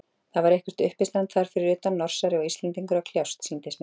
Það var eitthvert uppistand þar fyrir utan, Norsari og Íslendingur að kljást, sýndist mér.